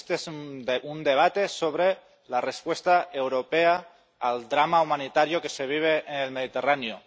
Este es un debate sobre la respuesta europea al drama humanitario que se vive en el Mediterráneo.